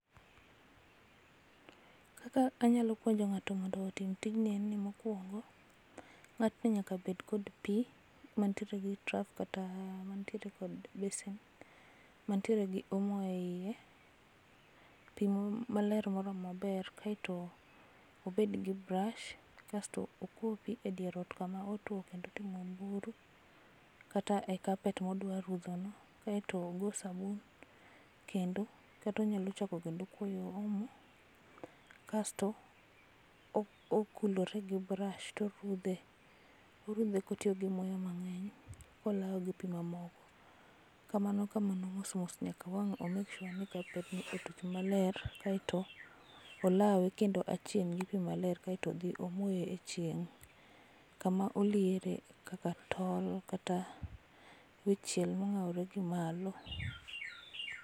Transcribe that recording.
Kaka anyalo puonjo ngáto mondo otim tijni en ni, mokwongo, ngátni nyaka bed kod pi, mantiere gi traf, kata mantiere kod besen, mantiere gi omo eiye. Pi maler moromo maber. Kaeto obed gi [cs[brush, kasto okwo pi e dier ot kama otwo kendo otimo buru, kata e carpet ma odwa rudho no. Kaeto ogo sabun, kendo, kata onyalo chako kendo kuoyo omo. Kasto okulore gi [cs[brush, to orudhe. Orudhe kotiyo gi muya mangény, kolawo gi pi mamoko. Kamano kamano mos mos nyaka wang' o make sure ni carpetni otuch maler. Kaeto olawe kendo aching' gi pi maler, kaeto odhi omoye e chieng kama oliere kaka tol, kata wi chiel mongáore gi malo.